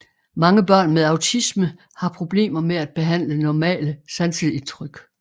Mange børn med autisme har problemer med at behandle normale sanseindtryk